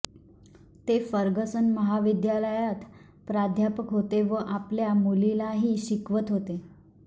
ते फर्गसन महाविद्यालयात प्राध्यापक होते व आपल्या मुलीलाही शिकवत होते